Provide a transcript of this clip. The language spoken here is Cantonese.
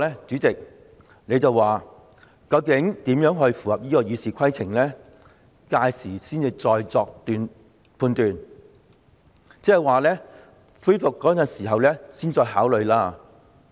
主席，你已表示，究竟有關安排如何才符合該項《議事規則》，屆時才會再作判斷，即是恢復二讀辯論的時候才作考慮。